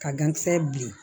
Ka gankisɛ bilen